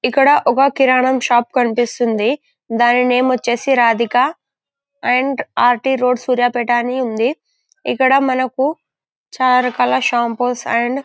ఇక్కడ ఒక కిరణం షాప్ కనిపిస్తుంది. దాని నేమ్ వచ్చేసి Radhika and R T road Suryapet అని ఉంది. ఇక్కడ మనకు చాలా రకాల సాంపుస్ అండ్ --